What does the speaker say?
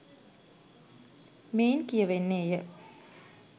මෙයින් කියවෙන්නේය.